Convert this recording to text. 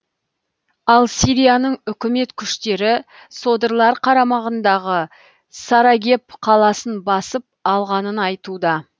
ал сирияның үкімет күштері содырлар қарамағындағы сарагеб қаласын басып алғанын айтуда